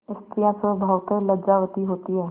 स्त्रियॉँ स्वभावतः लज्जावती होती हैं